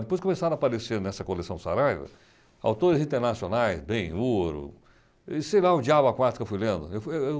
Depois começaram a aparecer nessa coleção Saraiva autores internacionais, ben hur, sei lá, o Diabo a quatro eu fui lendo.